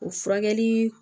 O furakɛli